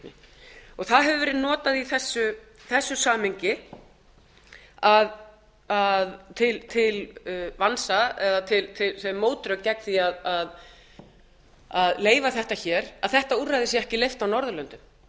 viðhorfsbreytingunni það hefur verið notað í þessu samhengi til vansa eða sem mótrök gegn því að leyfa þetta að þetta úrræði sé ekki leyft á norðurlöndum